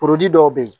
dɔw bɛ yen